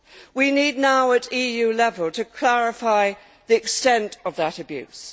We need now at EU level to clarify the extent of that abuse.